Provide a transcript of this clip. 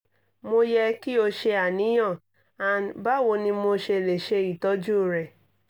mo yẹ ki o ṣe aniyan & bawo ni mo ṣe le ṣe itọju rẹ?